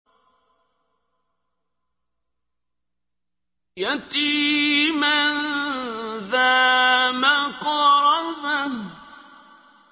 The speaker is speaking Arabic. يَتِيمًا ذَا مَقْرَبَةٍ